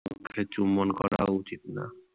গালে চুম্বন করা উচিত না।